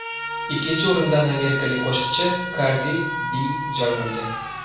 Ikkinchi o‘rindan amerikalik qo‘shiqchi Kardi Bi joy olgan.